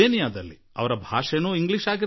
ಅವರ ಭಾಷೆಯೂ ಇಂಗ್ಲೀಷ್ ಆಗಿರಲಿಲ್ಲ